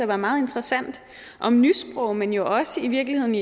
være meget interessant om nysprog men jo også i virkeligheden